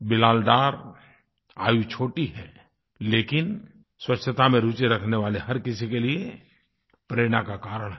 बिलाल डार आयु छोटी है लेकिन स्वच्छता में रुचि रखने वाले हर किसी के लिए प्रेरणा का कारण है